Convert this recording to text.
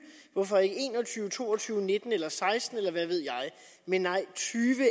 hvorfor ikke en og tyve to og tyve nitten eller seksten eller hvad ved jeg nej tyve